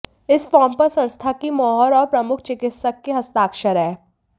इस फार्म पर संस्था की मोहर और प्रमुख चिकित्सक के हस्ताक्षर है